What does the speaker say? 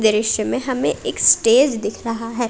इसमें हमें एक स्टेज दिख रहा है।